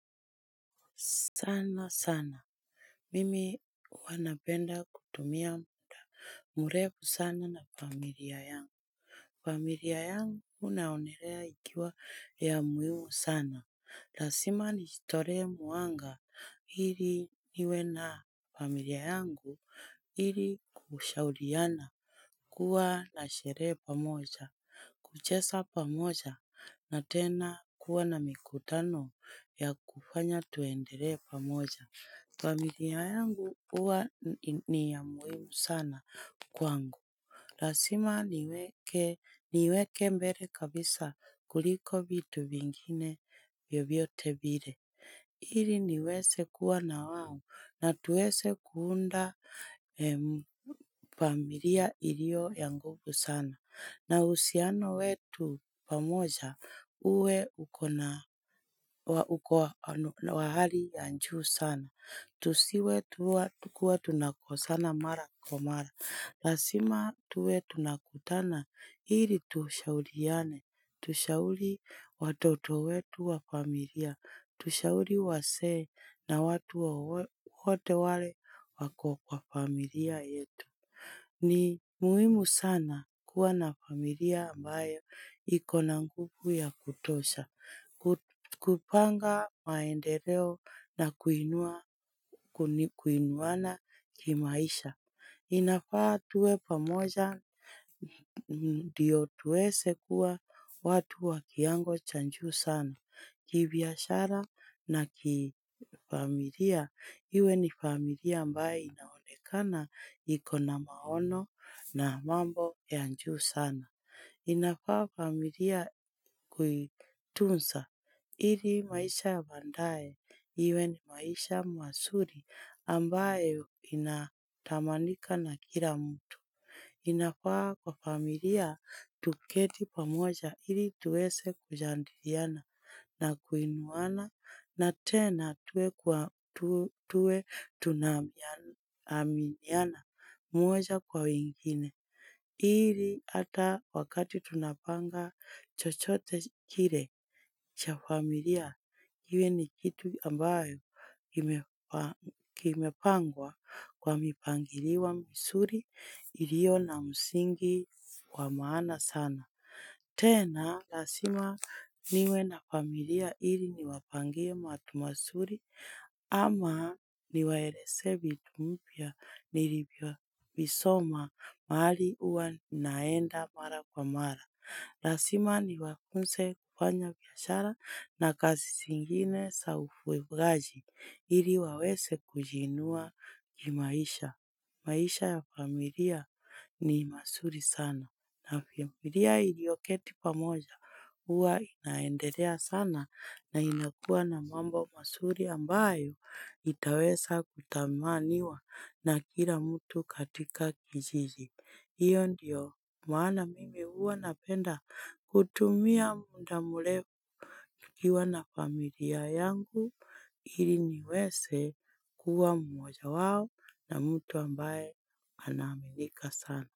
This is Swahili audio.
Sana sana, mimi huwa napenda kutumia mrefu sana na na familia yangu. Familia yangu naonelea ikiwa ya muhimu sana, lasima nijitolee muhanga ili niwe na familia yangu ili kushauriana. Kuwa na sherehe pamoja, kuchesa pamoja, na tena kuwa na mikutano ya kufanya tuendelee pamoja. Familia yangu huwa ni ya muhimu sana kwangu. Rasima niweke niiweke mbele kabisa kuliko vitu vingine vyovyote vile ili niwese kuwa na wao na tuwese kuunda familia ilio ya nguvu sana. Na uhusiano wetu pamoja uwe uko na wa uko na hali ya juu sana. Tusiwe tuwa kuwa tunakosana mara kwa mara. La sima tuwe tunakutana, ili tushauliane. Tushauli watoto wetu wa familia. Tushauri wasee na watu wowote wale wako kwa familia yetu. Ni muhimu sana kuwa na familia ambayo ikona nguvu ya kutosha. Kupanga maendeleo na kuinuana kuni kuinuana kimaisha inafaa tuwe pamoja ndio tuwese kuwa watu wakiango cha juu sana kibiashara na kifamilia iwe ni familia ambaye inaolekana ikona na maono na mambo ya juu sana inafaa familia kuitusa lii maisha ya baadae, iwe ni maisha masuli ambaye inatamanika na kila mtu. Inafaa kwa familia, tuketi pamoja ili tuwese kujidiliana na kuinuwana na tena tuwe tunaminiana mwoja kwa wengine. Ili hata wakati tunapanga chochote kile cha familia, kiwe ni kitu ambayo kimepangwa kwa mipangiliwa misuli ilio na musingi wa maana sana. Tena lasima niwe na familia ili niwapangie matu masuri ama niwaelezee vitu mpya nilivyo visoma mahali huwa naenda mara kwa mara. Na lasima niwafunze kufanya biashara na kazi zingine za ufuwegaji ili waweze kujiinua kimaisha. Maisha ya familia ni masuri sana navyo familia iliyoketi pamoja huwa inaendelea sana na inakua na mambo masuri ambayo itaweza kutamaniwa na kila mtu katika kijiji. Hiyo ndiyo maana mimi huwa napenda kutumia muda mrefu nikiwa na familia yangu ili niweze kuwa mmoja wao na mtu ambaye anaminika sana.